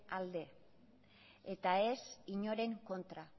alde eta ez inoren kontra